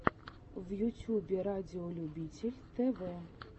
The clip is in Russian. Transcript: в ютьюбе радиолюбитель тв